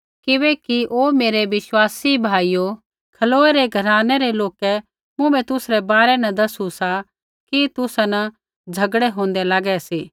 किबैकि हे मेरै विश्वासी भाइयो खलोए रै घरानै रै लोकै मुँभै तुसरै बारै न दसू सा कि तुसा न झ़गड़ै होंदै लागै सी